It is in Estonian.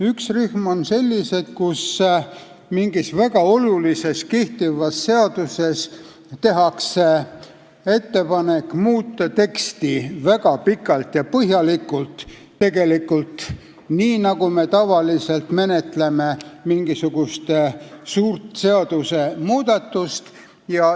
Üks rühm on see, kus tehakse ettepanek mingis väga olulises kehtivas seaduses muuta teksti väga pikalt ja põhjalikult, tegelikult nii, nagu me tavaliselt menetleme mingisugust suurt seadusmuudatust.